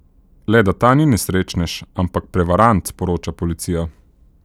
Le, da ta ni nesrečnež, ampak prevarant, sporoča policija.